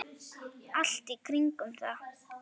Allt í kringum það.